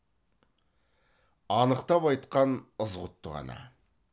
анықтап айтқан ызғұтты ғана